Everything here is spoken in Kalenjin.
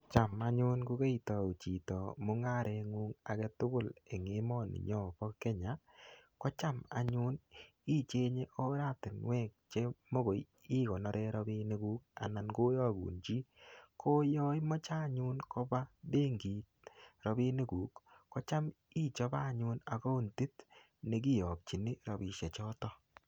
Cham anyun ko keitau chito mungarengung age tugul eng emoninyo bo Kenya, ko cham anyun ichenye oratinwek che mogoi ikonoren rapinikuk anan ko iyagun chi, ko yoimoche anyun koba benkit rapinikuk kocham ichope anyun akaontit ne kiyokchini, rapisiechoto.